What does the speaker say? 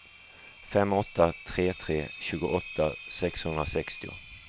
fem åtta tre tre tjugoåtta sexhundrasextio